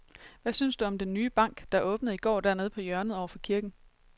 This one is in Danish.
Hvad synes du om den nye bank, der åbnede i går dernede på hjørnet over for kirken?